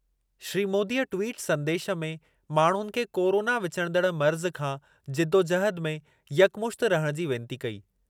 श्री मोदीअ ट्वीट संदेशु में माण्हुनि खे कोरोना विचुड़ंदड़ु मर्ज़ु खां जिदोजहद में यकमुश्तु रहणु जी वेनती कई।